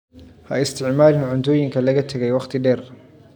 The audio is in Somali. Ha isticmaalin cuntooyinka laga tagay wakhti dheer.